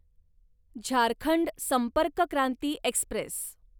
Jharkhand Sampark Kranti Express